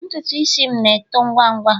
ntutu isi m na-eto ngwa ngwa